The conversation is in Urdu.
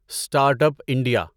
start up India